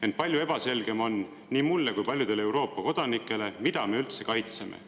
Ent palju ebaselgem on nii mulle kui paljudele Euroopa kodanikele, mida me üldse kaitseme.